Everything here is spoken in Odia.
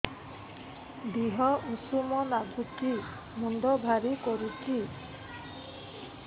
ଦିହ ଉଷୁମ ନାଗୁଚି ମୁଣ୍ଡ ଭାରି କରୁଚି